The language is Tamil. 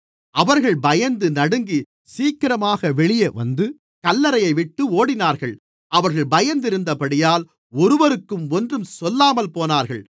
அவர்கள் பயந்து நடுங்கி சீக்கிரமாக வெளியே வந்து கல்லறையைவிட்டு ஓடினார்கள் அவர்கள் பயந்திருந்தபடியால் ஒருவருக்கும் ஒன்றும் சொல்லாமல் போனார்கள்